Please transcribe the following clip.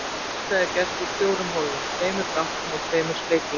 Hjartað er gert úr fjórum hólfum, tveimur gáttum og tveimur sleglum.